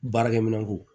Baarakɛminɛn ko